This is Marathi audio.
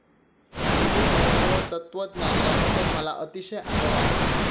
हिन्दू धर्म व तत्त्वज्ञान याबद्दल मला अतिशय आदर आहे.